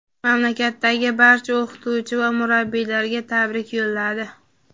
mamlakatdagi barcha o‘qituvchi va murabbiylarga tabrik yo‘lladi.